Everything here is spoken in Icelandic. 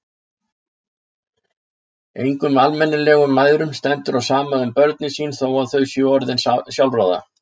Engum almennilegum mæðrum stendur á sama um börnin sín þó að þau séu orðin sjálfráða.